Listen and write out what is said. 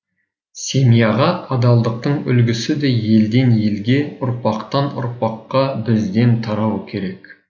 семьяға адалдықтың үлгісі де елден елге ұрпақтан ұрпаққа бізден тарауы керек